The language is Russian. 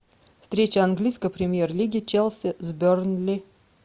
встреча английской премьер лиги челси с бернли